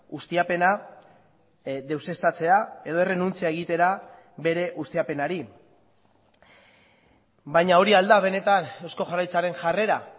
ustiapena deuseztatzea edo errenuntzia egitera bere ustiapenari baina hori al da benetan eusko jaurlaritzaren jarrera